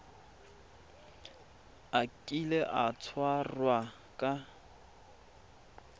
a kile a tshwarwa ka